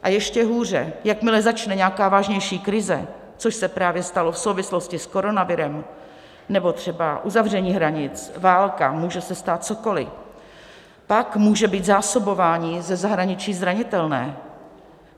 A ještě hůře, jakmile začne nějaká vážnější krize, což se právě stalo v souvislosti s koronavirem nebo třeba uzavření hranic, válka, může se stát cokoliv, pak může být zásobování ze zahraničí zranitelné.